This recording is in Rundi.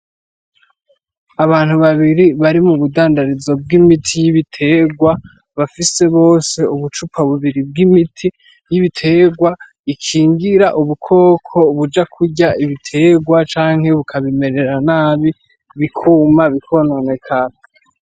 Abantu babiri bari mubudandarizo bw'imiti y' ibitegwa bafise bose ubucupa bubiri bw'imiti y'ibitegwa ikingira ubukoko buja kurya ibitegwa canke bukabimerera nabi bikuma bikononekara.